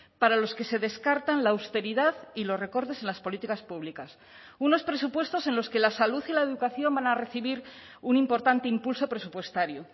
para los que se descartan la austeridad y los recortes en las políticas públicas unos presupuestos en los que la salud y la educación van a recibir un importante impulso presupuestario